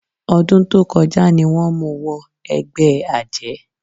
Ọdún tó kọjá ni wọ́n mú wọ ẹgbẹ́ àjẹ́.